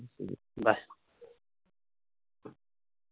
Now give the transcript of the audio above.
bye